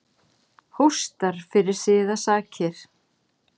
Hóstar fyrir siðasakir.